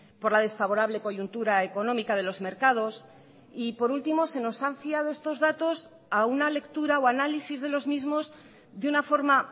por la desfavorable coyuntura económica de los mercados y por último se nos han fiado estos datos a una lectura o análisis de los mismos de una forma